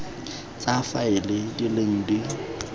tsa faele di leng di